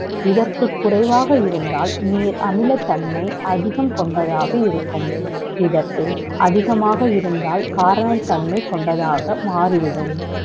இதற்கு குறைவாக இருந்தால் நீர் அமிலத்தன்மை அதிகம் கொண்டதாக இருக்கும் இதற்கு அதிகமாக இருந்தால் காரத்தன்மை கொண்டதாக மாறிவிடும்